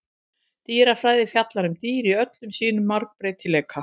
Dýrafræði fjallar um dýr í öllum sínum margbreytileika.